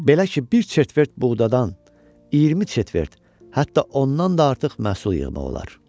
Belə ki, bir çetvert buğdadan 20 çetvert, hətta ondan da artıq məhsul yığmaq olar.